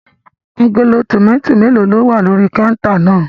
Agolo tòmátì mélòó ni ó wà lórí kọ́úntà náà?